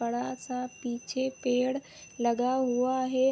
बड़ा सा पीछे पेड़ लगा हुआ है।